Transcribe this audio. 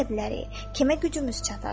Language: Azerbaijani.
Kimə gücümüz çatar?